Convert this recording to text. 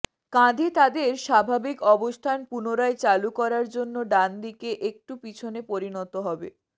কাঁধে তাদের স্বাভাবিক অবস্থান পুনরায় চালু করার জন্য ডান দিকে একটু পিছনে পরিণত হবে